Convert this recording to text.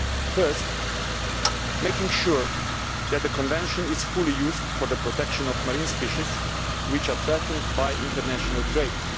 First, making sure that the Convention is fully used for the protection of marine species which are threatened by international trade.